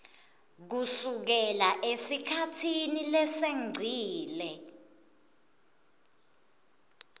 kusukela esikhatsini lesengcile